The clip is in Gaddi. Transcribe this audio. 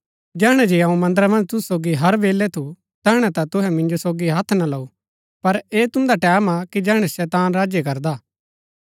जैहणै जे अऊँ मन्दरा मन्ज तुसु सोगी हर बेलै थू तैहणै ता तुसै मिन्जो सोगी हत्थ ना लऊ पर ऐह तुन्दा टैमं हा कि जैहणै शैतान राज्य करदा